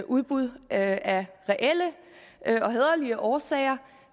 udbud af reelle og hæderlige årsager